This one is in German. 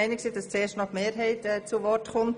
Darf ich dem Kommissionssprecher das Wort geben?